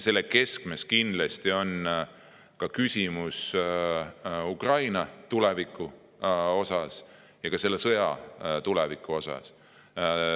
Selle keskmes on kindlasti Ukraina tuleviku ja ka selle sõja küsimused.